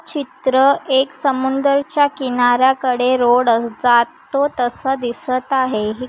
चित्र एक समुंदरच्या किनार्‍या कडे रोड जातो तसा दिसत आहे हे.